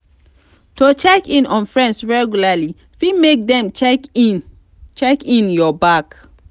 to check in on friends regularly fit make dem check in you back